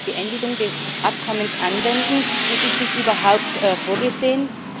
die Beendigung des Abkommens anwenden, und ist dies überhaupt vorgesehen?